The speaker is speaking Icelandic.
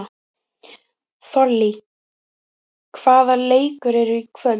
Þollý, hvaða leikir eru í kvöld?